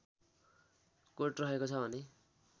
coat रहेको छ भने